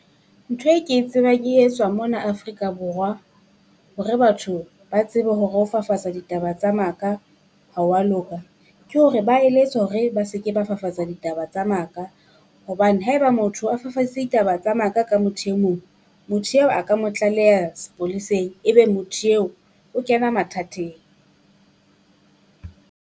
Ntho e ke e tsebang e etswa mona Afrika Borwa hore batho ba tsebe hore ho fafatsa ditaba tsa maka. Ha hwa loka ke hore ba eletswa hore ba se ke ba fafatsa ditaba tsa maka, hobane haeba motho a fafaditse ditaba tsa maka ka motho e mong, motho eo a ka mo tlaleha sepoleseng e be motho eo o kena mathateng.